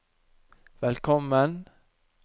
velkommen